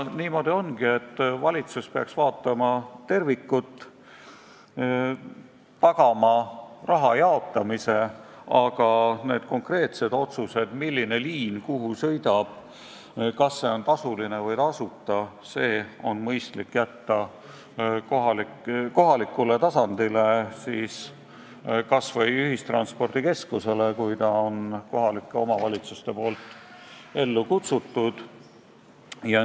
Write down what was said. Valitsus peaks vaatama tervikut ja tagama raha jaotamise, aga need konkreetsed otsused, milline liin kuhu sõidab, kas see on tasuline või tasuta, on mõistlik jätta kohalikule tasandile, kas või ühistranspordikeskusele, kui kohalik omavalitsus on selle ellu kutsunud.